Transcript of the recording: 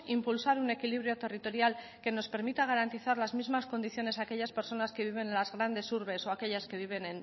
impulsar un equilibrio territorial que nos permita garantizar las mismas condiciones a aquellas personas que viven en las grandes urbes o aquellas que viven